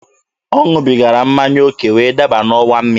Ọ ṅụbigara mmanya oke wee daba n'ọwa mmiri.